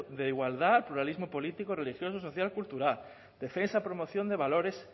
de igualdad pluralismo político religioso social cultural defensa promoción de valores